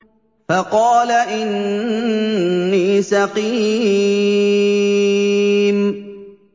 فَقَالَ إِنِّي سَقِيمٌ